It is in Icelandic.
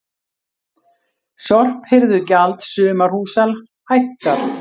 Sorphirðugjald sumarhúsa hækkar